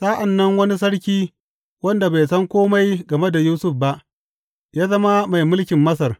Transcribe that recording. Sa’an nan wani sarki, wanda bai san kome game da Yusuf ba, ya zama mai mulkin Masar.